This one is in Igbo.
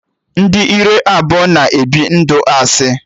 Ndị ire abụọ na-ebi ndụ asị